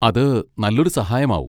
അത് നല്ലൊരു സഹായം ആവും.